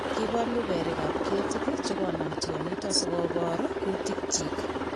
Kibolu berikab ketit chekonam tionyiton sikobar kutikyik.